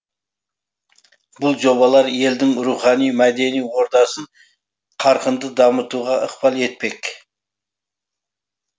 бұл жобалар елдің рухани мәдени ордасын қарқынды дамытуға ықпал етпек